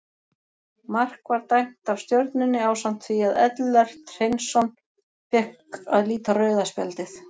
Mark var dæmt af Stjörnunni ásamt því að Ellert Hreinsson fékk að líta rauða spjaldið.